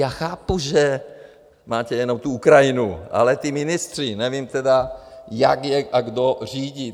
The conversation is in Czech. Já chápu, že máte jenom tu Ukrajinu, ale ty ministry nevím tedy, jak je a kdo řídí.